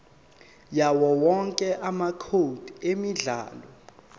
yawowonke amacode emidlalo